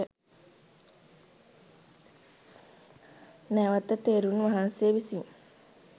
නැවත තෙරුන් වහන්සේ විසින්